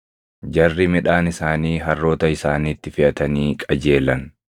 jarri midhaan isaanii harroota isaaniitti feʼatanii qajeelan.